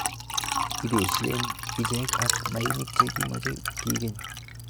Ibeshen ichek ak mainik che kimoche kikeny.